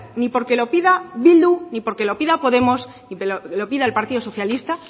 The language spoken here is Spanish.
ni porque lo pida bildu ni porque lo pida podemos ni porque lo pida el partido socialista